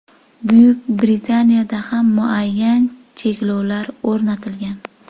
Buyuk Britaniyada ham muayyan cheklovlar o‘rnatilgan.